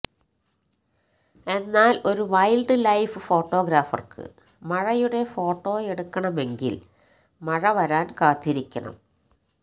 എന്നാല് ഒരു wildlife ഫോട്ടോഗ്രാഫര്ക്ക് മഴയുടെ ഫോട്ടെയെടുക്കണമെങ്കില് മഴ വരാന് കാത്തിരിക്കണം